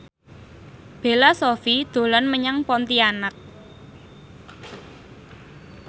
Bella Shofie dolan menyang Pontianak